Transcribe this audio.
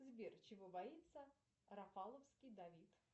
сбер чего боится рафаловский давид